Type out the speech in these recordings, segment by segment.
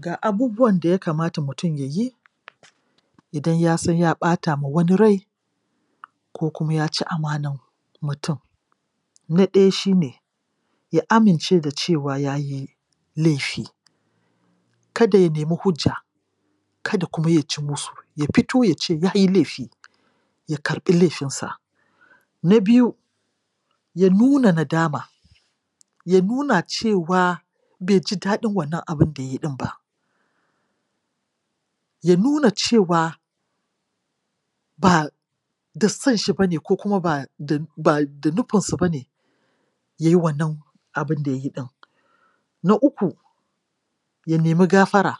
Ga abubuwan da ya kamata mutum ya yi idan ya san ya ɓata ma wani rai ko kuma ya ci amanan mutum: Na ɗaya shi ne ya amince da cewa ya yi laifi. Kada ya nemi hujjam, kada kuma ya ci musu, ya fito ya ce ya yi laifi, ya karɓi laifinsa. Na biyu, ya nuna nadama ya nuna cewa bai ji daɗin wannan abin da ya yi ɗin ba ya nuna cewa ba da son shi ba ne ko kuma ba da nufinsa ba ne ya yi wannan abin da ya yi ɗin. Na uku, ya nemi gafara,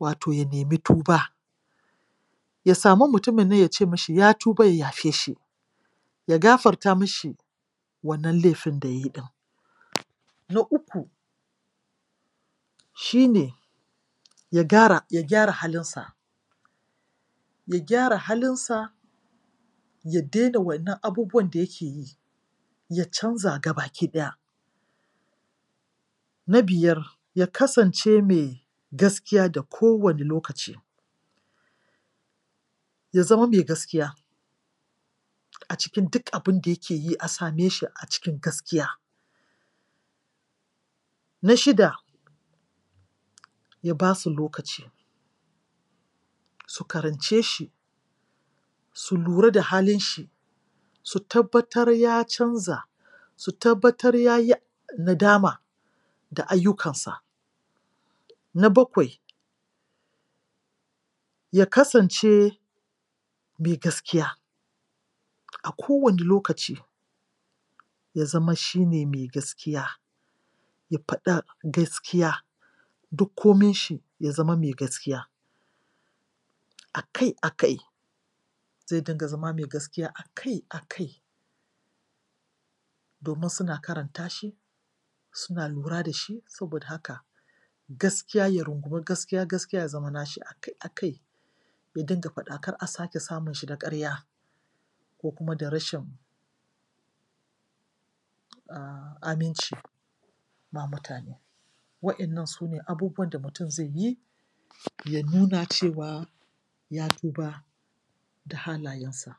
wato ya nemi tuba Ya samu mutumin nan ya ce mishi ya tuba ya yafe shi. shi ne ya gyara halinsa, ya gyara halinsa, ya daina waɗannan abubuwan da yake yi; ya canza ga bakiɗaya. Na biyar, ya kasance mai gaskiya da kowane lokaci ya zama mai gaskiya a cikin duk a bin da yake yi a same shi a cikin gaskiya. Na shida, ya ba su lokaci su karance shi su lura da halin shi su tabbatar ya canza, su tabbatar ya yi nadama da ayyukansa. Na bakwai, ya kasance mai gaskiya a kowane lokaci, ya zama shi ne mai gaskiya ya faɗa gaskiya, duk kominshi ya zama mai gaskiya a kai a kai. Ya dinga zama mai gaskiya a kai a kai. domin suna karanta shi, suna lura da shi. Saboda haka gaskiya ya rungumi gaskiya, gaskiya ya zama na shi a kai a kai ya dinga faɗa kar a sake samun shi da ƙarya ko kuma da rashin aminci ma mutane. Waɗannan su ne abubuwan da mutum zai yi ya nuna cewa ya tuba da halayensa.